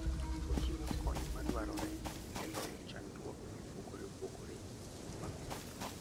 Ochiwo kony madwarore e loyo chandruoge mopogore opogore mag wuoth.